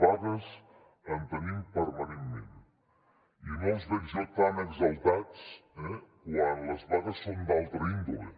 vagues en tenim permanentment i no els veig jo tan exaltats quan les vagues són d’una altra índole